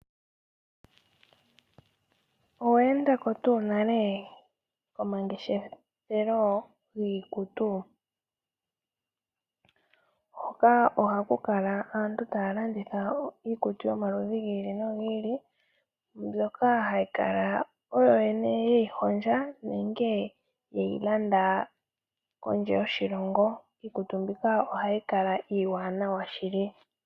Owe enda ko tuu nale komangeshefelo giikutu? Hoka ohaku kala aantu taya landitha iikutu yomaludhi gi ili nogi ili mbyoka haya kala oyo yene ye yi hondja nenge ye yi landa kondje yoshilongo. Iikutu mbika ohayi kala iiwaanaa shili.